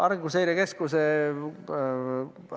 Arenguseire Keskus?